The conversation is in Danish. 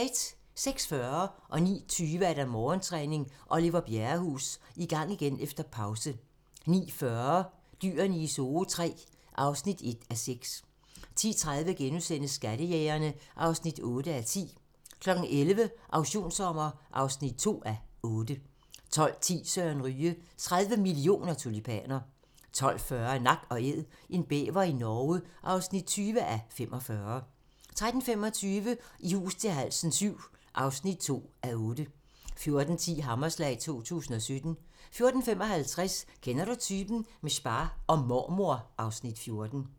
06:40: Morgentræning: Oliver Bjerrehus - I gang igen efter pause 09:20: Morgentræning: Oliver Bjerrehus - I gang igen efter pause 09:40: Dyrene i Zoo III (1:6) 10:30: Skattejægerne (8:10)* 11:00: Auktionssommer (2:8) 12:10: Søren Ryge: 30 mio. tulipaner 12:40: Nak & Æd - en bæver i Norge (20:45) 13:25: I hus til halsen VII (2:8) 14:10: Hammerslag 2017 14:55: Kender du typen? - med spa og mormor (Afs. 14)